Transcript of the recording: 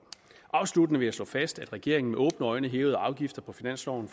afsluttende vil jeg slå fast at regeringen med åbne øjne hævede afgifter på finansloven